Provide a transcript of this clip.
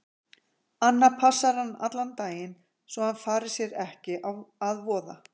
Anna passar hann allan daginn svo að hann fari sér ekki að voða.